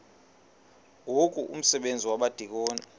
ngoku umsebenzi wabadikoni